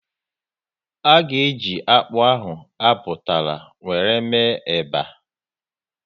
A ga eji akpụ ahụ a butara wéré mee eba